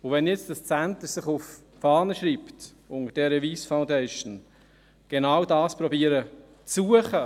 Dieses Centre unter der Wyss Foundation schreibt sich nun auf die Fahne, genau dies zu finden zu versuchen.